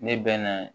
Ne bɛ na